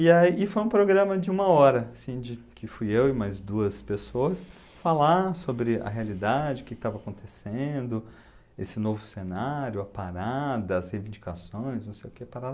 E aí, e foi um programa de uma hora, assim de, que fui eu e mais duas pessoas falar sobre a realidade, o que que estava acontecendo, esse novo cenário, a parada, as reivindicações, não sei o que, parará